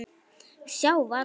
Sjá varla.